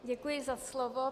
Děkuji za slovo.